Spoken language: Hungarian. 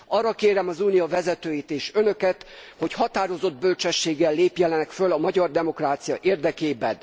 Arra kérem az unió vezetőit és Önöket, hogy határozott bölcsességgel lépjenek föl a magyar demokrácia érdekében.